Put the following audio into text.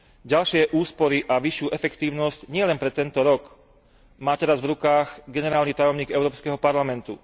Ďalšie úspory a vyššiu efektívnosť, nielen pre tento rok, má teraz v rukách generálny tajomník Európskeho parlamentu.